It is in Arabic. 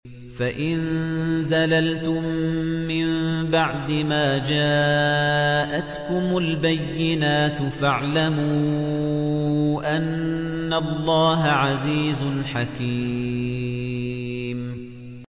فَإِن زَلَلْتُم مِّن بَعْدِ مَا جَاءَتْكُمُ الْبَيِّنَاتُ فَاعْلَمُوا أَنَّ اللَّهَ عَزِيزٌ حَكِيمٌ